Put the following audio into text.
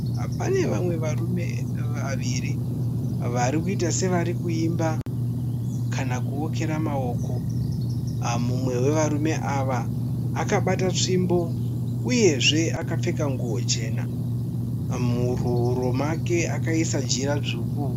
Pane vamwe varume vaviri varikuita sekuimba kana kuokera maoko. Mumwe wevarume ava akabata tsvimbo uyezve akapfeka nguwo chena. Muhuro make akaisa Jira dzvuku.